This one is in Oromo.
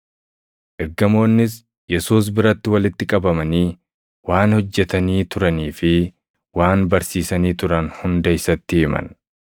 Ergamoonnis Yesuus biratti walitti qabamanii waan hojjetanii turanii fi waan barsiisanii turan hunda isatti himan.